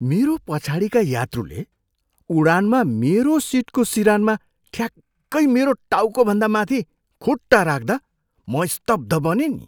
मेरो पछाडिका यात्रुले उडानमा मेरो सिटको सिरानमा ठ्याक्कै मेरो टाउकोभन्दा माथि खुट्टा राख्दा म स्तब्ध बनेँ नि!